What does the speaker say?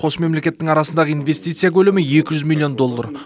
қос мемлекеттің арасындағы инвестиция көлемі екі жүз миллион долллар